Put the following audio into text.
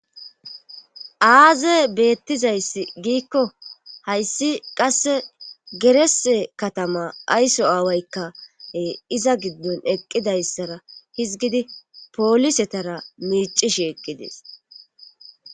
aaze beettizayssi giikko hayssi qasse gerese katama ayso aawaykkae iza giddon eqqidayssara hizgidi poolisetara miicishi eqqidees